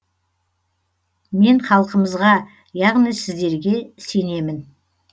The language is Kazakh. мен халқымызға яғни сіздерге сенемін